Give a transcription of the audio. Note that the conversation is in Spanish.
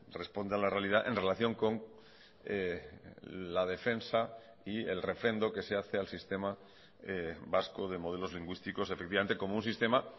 responde a la realidad en relación con la defensa y el refrendo que se hace al sistema vasco de modelos lingüísticos efectivamente como un sistema